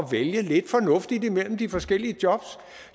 vælge lidt fornuftigt imellem de forskellige jobs